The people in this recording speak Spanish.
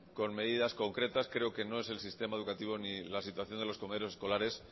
con medidas concretas creo que no es el sistema educativo ni la situación de los comedores escolares